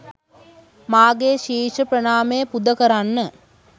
මාගේ ශීර්ෂ ප්‍රණාමය පුද කරන්න